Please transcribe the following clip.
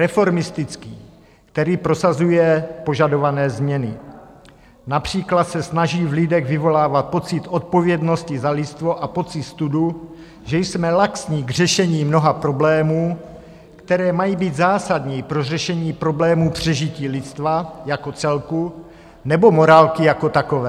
Reformistický, který prosazuje požadované změny, například se snaží v lidech vyvolávat pocit odpovědnosti za lidstvo a pocit studu, že jsme laxní k řešení mnoha problémů, které mají být zásadní pro řešení problémů přežití lidstva jako celku nebo morálky jako takové.